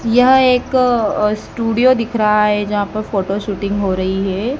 यह एक स्टूडियो दिख रहा है जहां पर फोटो शूटिंग हो रही है।